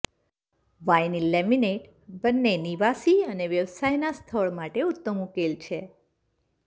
vinyl laminate બંને નિવાસી અને વ્યવસાયના સ્થળ માટે ઉત્તમ ઉકેલ છે